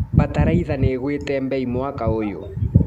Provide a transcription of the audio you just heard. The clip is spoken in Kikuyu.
Bataraitha nĩigwĩte mbei mwaka ũyũ.